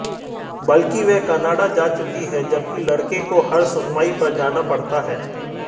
बल्कि वह कनाडा जा चुकी है जबकि लड़के को हर सुनवाई पर जाना पड़ता है